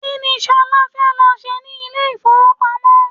Kini Ṣolá fẹ́ lọ ṣe ní ilé ifowopamo?